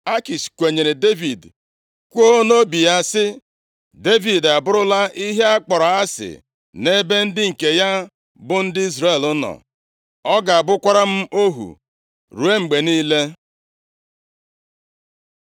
Akish kwenyere Devid, kwuo nʼobi ya sị, “Devid abụrụla ihe a kpọrọ asị nʼebe ndị nke ya bụ ndị Izrel nọ. Ọ ga-abụkwara m ohu ruo mgbe niile.”